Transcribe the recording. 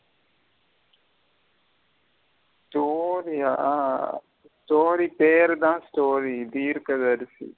Story ய story பேர்த story தீர்க்கதரசி.